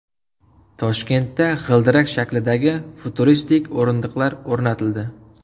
Toshkentda g‘ildirak shaklidagi futuristik o‘rindiqlar o‘rnatildi .